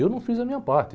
Eu não fiz a minha parte.